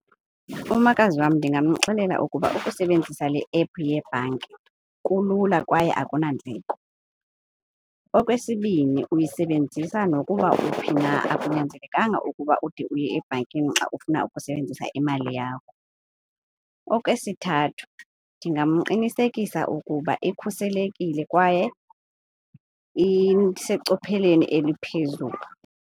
Umakazi wam ndingamxelela ukuba ukusebenzisa le app yebhanki kulula kwaye akunandleko. Okwesibini uyisebenzisa nokuba uphi na. Akunyanzelekanga ukuba ude uye ebhankini xa ufuna ukusebenzisa imali yakho. Okwesithathu ndingamqinisekisa ukuba ikhuselekile kwaye isecopheleni eliphezulu.